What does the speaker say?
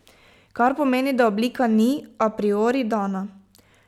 Kar pomeni, da oblika ni a priori dana.